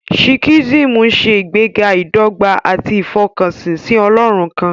Sikhism ń ṣe ìgbéga ìdọ́gba àti ìfọkànsìn sí Ọlọ́run kan.